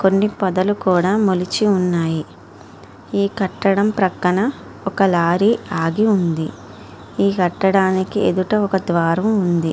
కొన్ని పొదలు కూడా మొలచి ఉన్నాయి. ఈ కట్టడం ప్రక్కన ఒక లారీ ఆగి ఉంది. ఈ కట్టడానికి ఎదుట ఒక ద్వారం ఉంది.